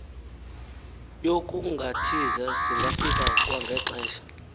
yokungathiza singafika kwangexesha